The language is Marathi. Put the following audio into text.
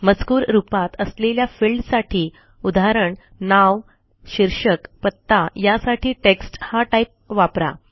मजकूर रूपात असलेल्या फिल्डसाठी उदा नाव शीर्षक पत्ता यासाठी टेक्स्ट हा टाईप वापरा